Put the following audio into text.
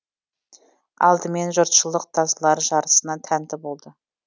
алдымен жұртшылық тазылар жарысына тәнті болды